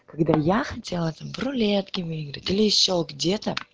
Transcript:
когда я хотела там в рулетке выиграть или ещё где-то